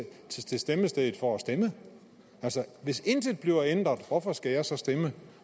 til stemmestedet for at stemme altså hvis intet bliver ændret hvorfor skal jeg så stemme